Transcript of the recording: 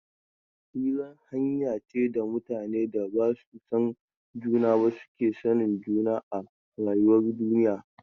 Hira hanya ce da mutanen da ba su san juna ba suke sanin juna a rayuwar duniya.